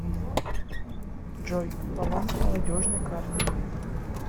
джой баланс молодежной карты